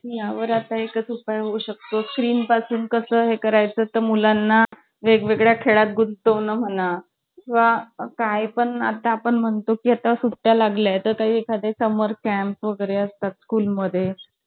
पण मी जायचेच नाही. हा मग मी जायचेच नाही अगं. मग काय करणार? म्हणजे madam मला अं म्हणजे असं कधी force केला ना कि चलच चल, जबरदस्ती केली ना